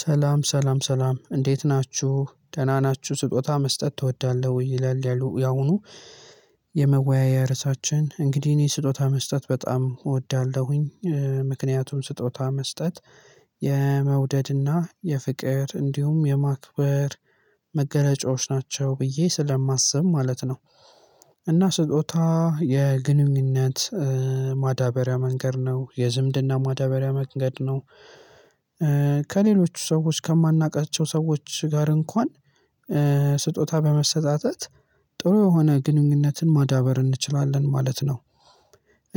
ሰላም ሰላም ሰላም እንዴት ናችሁ ደህና ናችሁ ስጦታ መስጠት ትወዳለህ ወይ? ይላል ያሁኑ የመወያያ ርዕሳችን እንግዲህ እኔ ስጦታ መስጠት በጣም እወዳለሁኝ። ምክንያቱም ስጦታ መስጠት የመውደድና የፍቅር እንዲሁም የማክበር መገለጫዎች ናቸው ብዬ ስለማስብ ማለት ነው። እና ስጦታ የግንኙነት ማዳበሪያ መንገድ ነው የዝምድና ማዳበሪያ መንገድ ነው። ከሌሎች ሰዎች ከማናውቃቸው ሰዎች ጋር እንኳን ስጦታ በመሰጣጠት ጥሩ የሆነ ግንኙነትን ማዳበር እንችላለን ማለት ነው።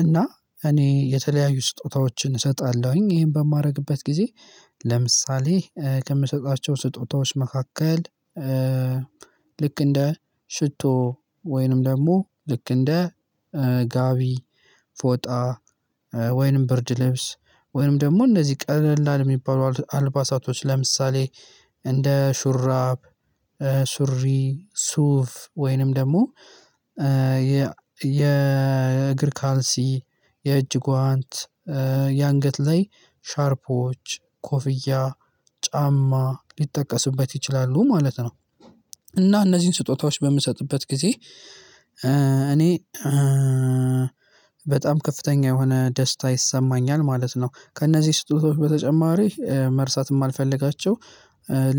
እና እኔ የተለያዩ ስጦታዎችን እሰጣለሁኝ ይሄን በማደርግበት ጊዜ። ለምሳሌ ከምሰጣቸው ስጦታዎች መካከል ልክ እንደ ሽቶ ወይንም ደግሞ ልክ እንደ ጋቢ ፎጣ ወይንም ብርድ ልብስ ወይንም ደግሞ እንደዚህ ቀለላል የሚባሉ አልባሳቶች ለምሳሌ እንደ ሹራብ ሱሪ ሱፍ ወይንም ደግሞ የእግር ካልሲ የእጅ ጓንት የአንገት ላይ ሻርፖች ኮፍያ ጫማ ሊጠቀስበት ይችላሉ ማለት ነው። እና እነዚህን ስጦታዎች በምሰጥበት ጊዜ እኔ በጣም ከፍተኛ የሆነ ደስታ ይሰማኛል ማለት ነው። ከእነዚህ ስጦታዎች በተጨማሪ መርሳት የማልፈልጋቸው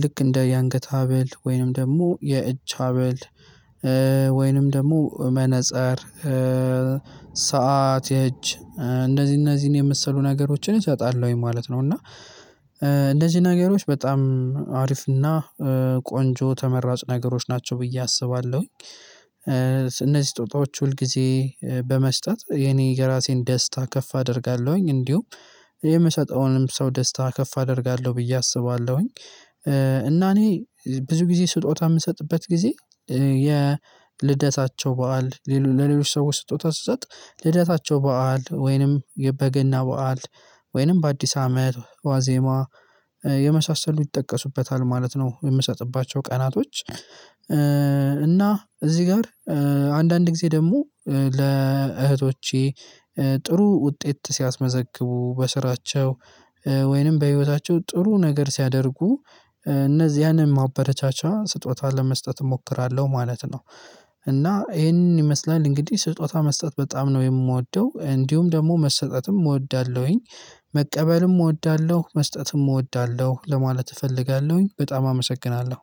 ልክ እንደ የአንገት ሀብል ወይንም ደግሞ የእጅ ሀብል ወይንም ደግሞ መነፀር ሰዓት የእጅ እንደዚህ እነዚህን የመሰሉ ነገሮችን እሰጣላሁኝ ማለት ነው። እና እንደዚህ ነገሮች በጣም አሪፍና ቆንጆ ተመራጭ ነገሮች ናቸው ብዬ አስባለሁኝ። እነዚህ ስጦጣዎች ሁል ጊዜ በመስጠት የኔ የራሴን ደስታ ከፍ አደርጋለሁኝ እንዲሁም የምሰጠውንም ሰው ደስታ ከፍ አደርጋለሁ ብዬ አስባለሁኝ። እና እኔ ብዙ ጊዜ ስጦታ የምሰጥበት ጊዜ የልደታቸው በዓል ለሌሎች ሰዎች ስጦታ ስሰጥ ልደታቸው በዓል ወይንም የበገና በዓል ወይንም በአዲስ አመት ዋዜማ የመሳሰሉ ይጠቀሱበታል ማለት ነው። የምሰጥባቸው ቀናቶች እና እዚህ ጋር አንዳንድ ጊዜ ደግሞ ለእህቶቼ ጥሩ ውጤት ሲያስመዘግቡ በስራቸው ወይንም በህይወታቸው ጥሩ ነገር ሲያደርጉ እነዚህያንም ማበረቻቻ ስጦታን ለመስጠት እሞክራለሁ ማለት ነው። እና ይሄንን ይመስላል እንግዲህ ስጦታ መስጠት በጣም ነው የምወደው እንዲሁም ደግሞ መሰጠትም እወዳለሁኝ። መቀበልም እወዳለሁ መስጠትም እወዳለሁ ለማለት እፈልጋለሁኝ በጣም አመሰግናለሁ።